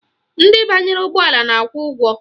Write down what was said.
Ndị banyere ụgbọala na-akwụ ụgwọ